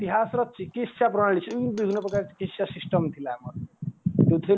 ଇତିହାସର ଚିକିସ୍ୟା ପ୍ରଳାଳୀ ବିଭିନ ପ୍ରକାର ଚିକିସ୍ୟା system ଥିଲା ଆମର